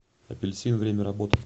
апельсин время работы